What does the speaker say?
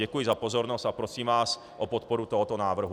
Děkuji za pozornost a prosím vás o podporu tohoto návrhu.